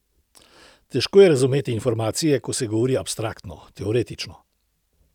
Težko je razumeti informacije, ko se govori abstraktno, teoretično.